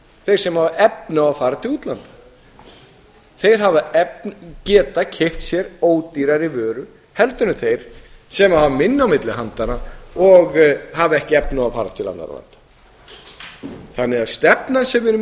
þeir sem hafa efni á því að fara til útlanda þeir geta keypt sér ódýrari vöru heldur en þeir sem hafa minna á milli handanna og hafa ekki efni á að fara til annarra landa þannig að stefnan sem við erum með